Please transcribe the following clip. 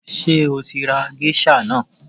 Ṣé o tí ra géṣà náà?